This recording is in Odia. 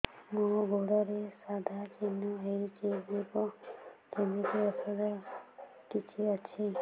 ମୋ ଗୁଡ଼ରେ ସାଧା ଚିହ୍ନ ହେଇଚି ଯିବ କେମିତି ଔଷଧ କିଛି ଅଛି